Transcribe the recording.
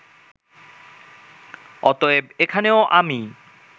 অতএব এখানেও আমি